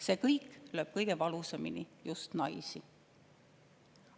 See kõik lööb kõige valusamini just naisi.